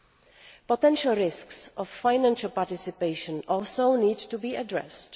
The potential risks of financial participation also need to be addressed.